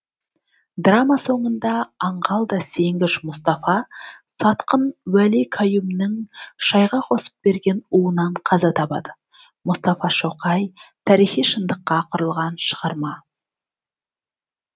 драма соңында аңғал да сенгіш мұстафа сатқын уәли каюмнің шайға қосып берген уынан қаза табады мұстафа шоқай тарихи шындыққа құрылған шығарма